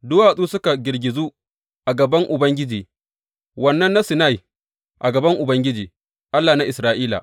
Duwatsu suka girgizu a gaban Ubangiji, Wannan na Sinai, a gaban Ubangiji, Allah na Isra’ila.